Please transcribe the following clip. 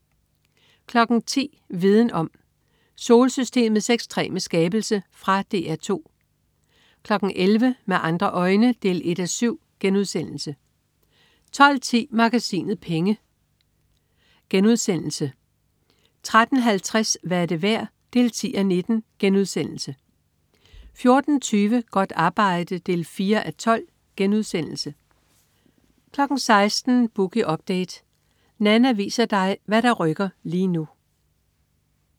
10.00 Viden Om: Solsystemets ekstreme skabelse. Fra DR 2 11.00 Med andre øjne 1:7* 12.10 Magasinet Penge* 13.50 Hvad er det værd? 10:19* 14.20 Godt arbejde 4:12* 16.00 Boogie Update. Nanna viser dig hvad der rykker lige nu